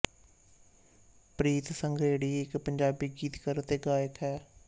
ਪ੍ਰੀਤ ਸੰਘਰੇੜੀ ਇੱਕ ਪੰਜਾਬੀ ਗੀਤਕਾਰ ਅਤੇ ਗਾਇਕ ਹੈ